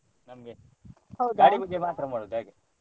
ನಮ್ಗೆ ಮಾತ್ರ ಮಾಡುದು ಹಾಗೆ.